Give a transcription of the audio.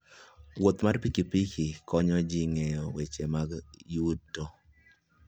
Wuoth mar pikipiki konyo ji ng'eyo weche mag yuto.